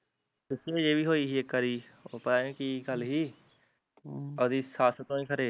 ਪਿੱਛੇ ਜਹੇ ਵੀ ਹੋਈ ਸੀ ਇੱਕ ਵਾਰੀ, ਉਹ ਪਤਾ ਨੀ ਕੀ ਗੱਲ ਹੀ ਹਮ ਅਵਦੀ ਸੱਸ ਤੋਂ ਈ ਖਰੇ